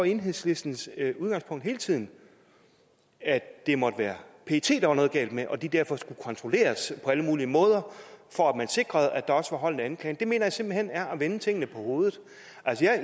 enhedslistens udgangspunkt hele tiden at det måtte være pet der var noget galt med og at de derfor skulle kontrolleres på alle mulige måder for at man sikrede at der også var hold i anklagen det mener jeg simpelt hen er at vende tingene på hovedet